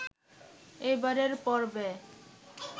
এবারের পর্বে